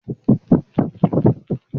Ṣé o ma gbé ìbùsùn yí sókè?